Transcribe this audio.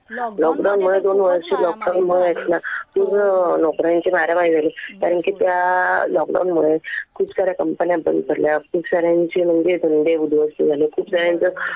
Lockdown मुळे दोन वर्ष लॉकडाऊन मुळे आहेत ना खूप नोकऱ्यांची मारामारी झाली. कारण कि त्या लॉकडाऊन मुळे खूप साऱ्या कंपन्या बंद पडल्या. खूप साऱ्यांचे उद्योग धंदे उध्वस्त झाले. खूप साऱ्यांचं